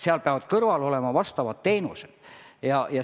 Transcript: Seal peavad kõrval olema vastavad teenused.